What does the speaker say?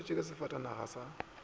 a šetšwe ke sefatanaga sa